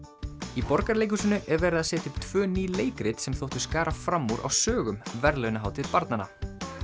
í Borgarleikhúsinu er verið að setja upp tvö ný leikrit sem þóttu skara fram úr á sögum verðlaunahátíð barnanna